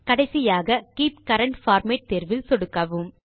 கடைசியாக keep current format தேர்வில் சொடுக்கவும்